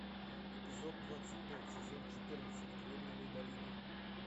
эпизод двадцать пять сезон четырнадцать кремниевая долина